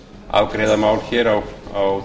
afgreiða mál hér á